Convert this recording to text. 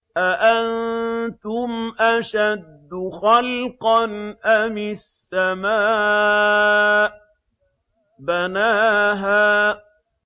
أَأَنتُمْ أَشَدُّ خَلْقًا أَمِ السَّمَاءُ ۚ بَنَاهَا